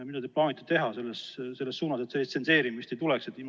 Mida te plaanite teha selles suunas, et sellist tsenseerimist ei tuleks?